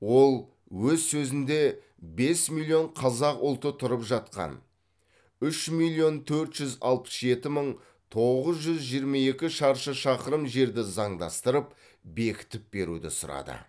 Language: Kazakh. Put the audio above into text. ол өз сөзінде бес миллион қазақ ұлты тұрып жатқан үш миллион төрт жүз алпыс жеті мың тоғыз жүз жиырма екі шаршы шақырым жерді заңдастырып бекітіп беруді сұрады